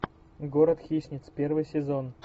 город хищниц первый сезон